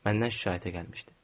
Məndən şikayətə gəlmişdi.